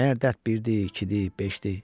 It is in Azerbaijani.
Məgər dərd birdi, ikidi, beşdi?